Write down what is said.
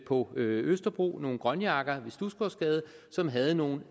på østerbro nogle grønjakker ved studsgårdsgade som havde nogle